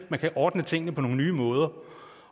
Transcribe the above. man kan ordne tingene på nogle nye måder og